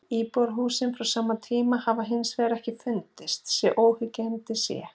Íbúðarhúsin frá sama tíma hafa hins vegar ekki fundist svo óyggjandi sé.